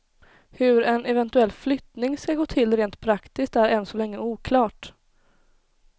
Hur en eventuell flyttning skall gå till rent praktiskt är än så länge oklart.